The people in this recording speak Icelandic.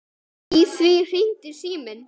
Í því hringdi síminn.